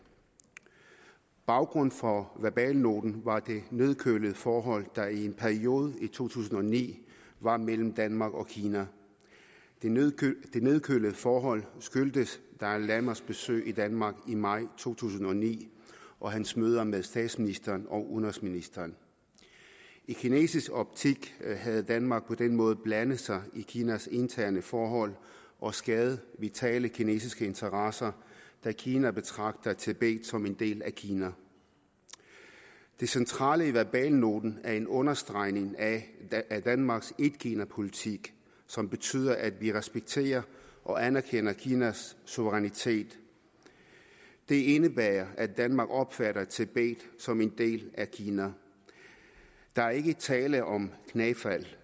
baggrunden for verbalnoten var det nedkølede forhold der i en periode i to tusind og ni var mellem danmark og kina det nedkølede forhold skyldtes dalai lamas besøg i danmark i maj to tusind og ni og hans møder med statsministeren og udenrigsministeren i kinesisk optik havde danmark på den måde blandet sig i kinas interne forhold og skadet vitale kinesiske interesser da kina betragter tibet som en del af kina det centrale i verbalnoten er en understregning af danmarks etkinapolitik som betyder at vi respekterer og anerkender kinas suverænitet det indebærer at danmark opfatter tibet som en del af kina der er ikke tale om knæfald